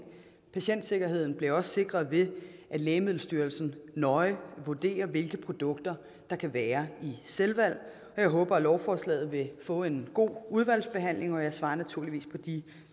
patientsikkerheden bliver også sikret ved at lægemiddelstyrelsen nøje vurderer hvilke produkter der kan være i selvvalg jeg håber at lovforslaget vil få en god udvalgsbehandling og jeg svarer naturligvis på de